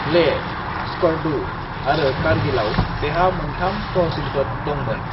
लेह, स्कर्दु आरो कारगिलाव बेहा मोन्थाम तहसिलफोर दंमोन।